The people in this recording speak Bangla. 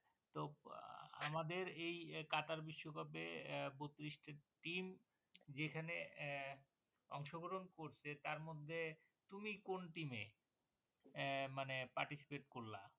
তো আমাদের এই কাতার বিশ্বকাপে আহ বত্ৰিশটা team যেখানে আহ অংশ গ্রহণ করছে তার মধ্যে তুমি কোন team এ? এ মানে participate করলাম।